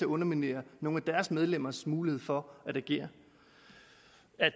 underminere nogle af deres medlemmers mulighed for at agere